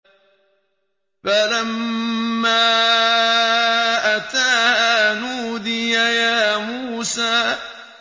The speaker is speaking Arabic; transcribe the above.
فَلَمَّا أَتَاهَا نُودِيَ يَا مُوسَىٰ